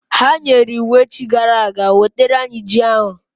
Ha nyere iwu echi gara aga, wetara anyị ji ahụ!